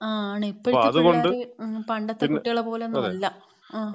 ആ ആണ്. ഇപ്പഴത്തെ പിളേളര്, പണ്ടെത്തെ കുട്ടികളെ പോലൊന്നുമല്ല. ങാ,